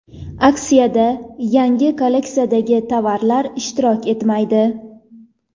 Aksiyada yangi kolleksiyadagi tovarlar ishtirok etmaydi.